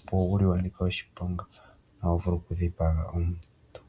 mbono wuli wa nika oshiponga hawu vulu okudhipaga omuntu.